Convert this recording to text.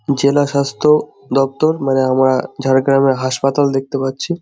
জেলা স্বাস্থ্য দফতর মানে আমরা ঝাড়গ্রামের হাসপাতাল দেখতে পাচ্ছি।